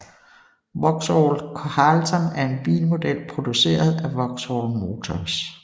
Vauxhall Carlton er en bilmodel produceret af Vauxhall Motors